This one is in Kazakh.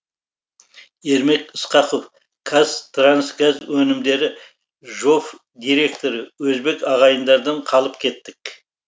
ермек ысқақов қазтрансгаз өнімдері жоф директоры өзбек ағайындардан қалып кеттік